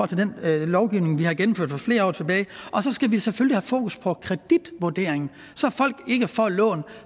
til den lovgivning vi har gennemført for flere år siden og så skal vi selvfølgelig fokus på kreditvurdering så folk ikke får lån